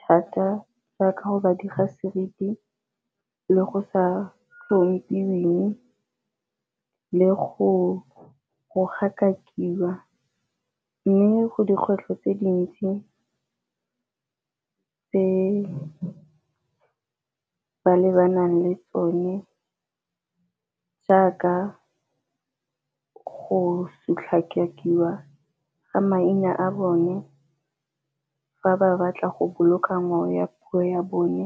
thata jaaka go ba diga seriti le go sa tlhomphiweng le go gatakiwa. Mme go dikgwetlho tse dintsi tse ba lebanang le tsone jaaka go sotlakakiwa ga maina a bone fa ba batla go boloka ngwao ya puo ya bone.